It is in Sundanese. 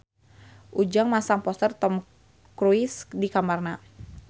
Ujang masang poster Tom Cruise di kamarna